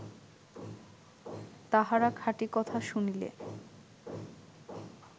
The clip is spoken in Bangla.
তাহারা খাঁটি কথা শুনিলে